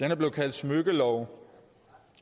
er blevet kaldt smykkelov